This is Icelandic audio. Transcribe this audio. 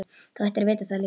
Þú ættir að vita það líka.